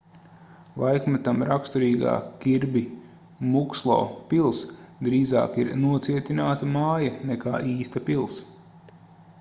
laikmetam raksturīgā kirbi mukslo pils drīzāk ir nocietināta māja nekā īsta pils